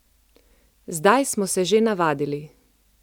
Zdaj smo se že navadili.